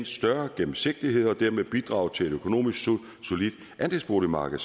større gennemsigtighed og dermed bidrage til et økonomisk solidt andelsboligmarked